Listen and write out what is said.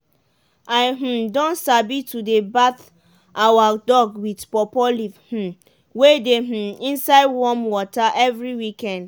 i um don sabi to dey bath our dog with pawpaw leave um wey dey um inside warm water every weekend.